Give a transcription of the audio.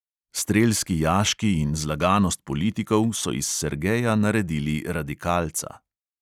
Strelski jaški in zlaganost politikov so iz sergeja naredili radikalca.